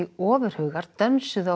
ofurhugar dönsuðu á